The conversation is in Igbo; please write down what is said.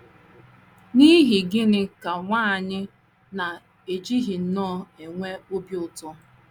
N’ihi gịnị ka nwa anyị na - ejighị nnọọ enwe obi ụtọ? ’